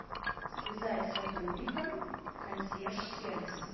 связать с сотрудником консьерж сервиса